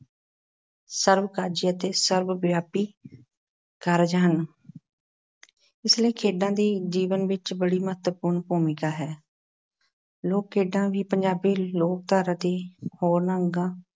ਸਰਬ-ਕਾਜੀ ਅਤੇ ਸਰਬ-ਵਿਆਪੀ ਕਾਰਜ ਹਨ ਇਸ ਲਈ ਖੇਡਾਂ ਦੀ ਜੀਵਨ ਵਿੱਚ ਬੜੀ ਮਹੱਤਵਪੂਰਨ ਭੂਮਿਕਾ ਹੈ। ਲੋਕ-ਖੇਡਾਂ ਵੀ ਪੰਜਾਬੀ ਲੋਕਧਾਰਾ ਦੇ ਹੋਰਨਾਂ ਅੰਗਾਂ,